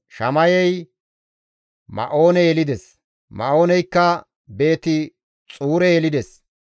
Shamayey Ma7oone yelides; Ma7ooneykka Beeti-Xuure yelides.